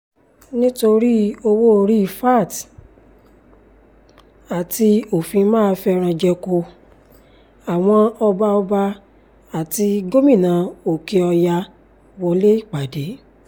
nítorí owó-orí vat àti òfin ma fẹ́ran-jẹko àwọn ọba ọba àti gómìnà òkè-ọ̀yà wọlé ìpàdé